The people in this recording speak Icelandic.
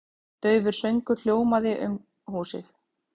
Daufur söngur hljómandi um húsið.